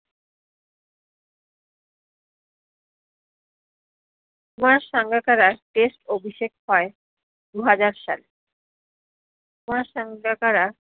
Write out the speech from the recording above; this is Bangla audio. কুমার সাঙ্গাকারা test অভিষেক হয় দু হাজার সালে কুমার সাঙ্গাকারা